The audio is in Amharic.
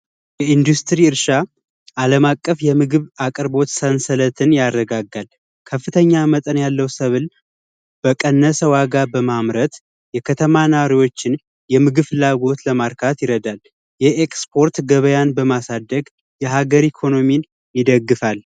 የኢንዱስትሪ እርሻ አለም አቀፍ የምግብ አቅርቦት ሰንሰለትን ያረጋጋል። ከፍተኛ መጠን ያለው ሰብል በቀነሰ ዋጋ በማምረት የከተማ ኗሪዎችን የምግብ ፍላጎት ለማርካት ይረዳል የኤክስፖርት ገበያን በማሳደግ የሀገሪ ኢኮኖሚን ይደግፋል ።